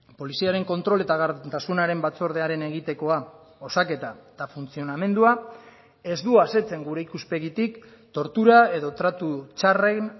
poliziaren kontrol eta gardentasunaren batzordearen egitekoa osaketa eta funtzionamendua ez du asetzen gure ikuspegitik tortura edo tratu txarren